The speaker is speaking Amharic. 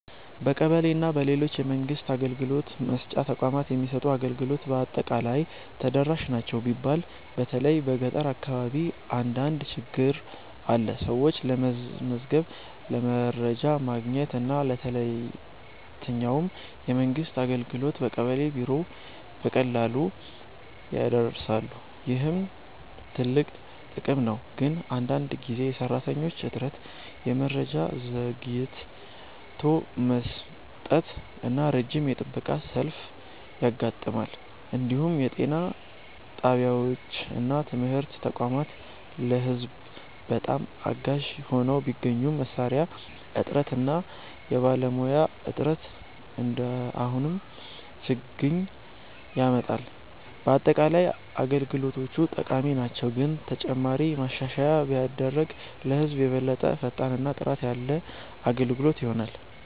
በቀበሌ እና በሌሎች የመንግስት አገልግሎት መስጫ ተቋማት የሚሰጡ አገልግሎቶች በአጠቃላይ ተደራሽ ናቸው ቢባልም በተለይ በገጠር አካባቢ አንዳንድ ችግኝ አለ። ሰዎች ለመመዝገብ፣ ለመረጃ ማግኘት እና ለየትኛውም የመንግስት አገልግሎት በቀበሌ ቢሮ በቀላሉ ይደርሳሉ፣ ይህም ትልቅ ጥቅም ነው። ግን አንዳንድ ጊዜ የሰራተኞች እጥረት፣ የመረጃ ዘግይቶ መስጠት እና ረጅም የጥበቃ ሰልፍ ያጋጥማል። እንዲሁም የጤና ጣቢያዎች እና ትምህርት ተቋማት ለህዝብ በጣም አጋዥ ሆነው ቢገኙም መሳሪያ እጥረት እና የባለሙያ እጥረት አሁንም ችግኝ ያመጣል። በአጠቃላይ አገልግሎቶቹ ጠቃሚ ናቸው፣ ግን ተጨማሪ ማሻሻያ ቢደረግ ለህዝብ የበለጠ ፈጣን እና ጥራት ያለ አገልግሎት ይሆናል።